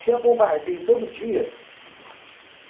Tinha bombardeio todo dia?